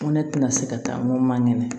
Ko ne tɛna se ka taa n ko ma ŋɛnɛ